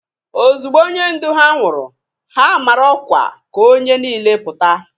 Ozugbo onye ndu ha nwụrụ, ha mara ọkwa ka onye niile pụta.